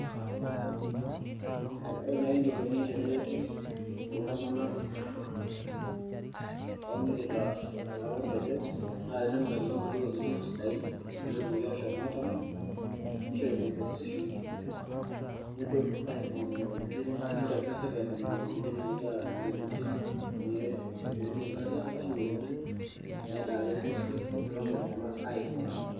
Ore eneikoni tenereti iltunganak oonyikita enkalo orkeju neutakini nkulie wuejitin sidai peetum aashom aatamany nishori compensation neshet serikali nena wuejitin neetumieki nkariak ashuu naadaare ng'uesin neipang iltunganak aaing'uaa.